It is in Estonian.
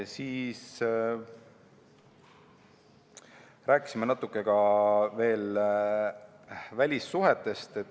Siis rääkisime natuke välissuhetest.